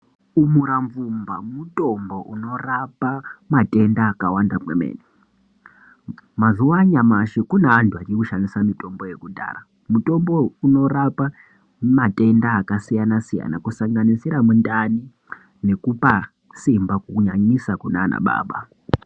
Umura vumba mutombo unorapa matenda akawanda kwemene mazuva noaya kune vantu vakawanda vachiri kushandisa mitombo yekudhaya mutombo uyu unorapa matenda akasiyana siyana kusanganisira mundani nekupa simba kunyanyisa kunana baba.